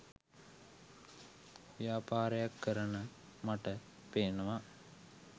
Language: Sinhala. ව්‍යාපාරයක් කරන මට පෙනෙනවා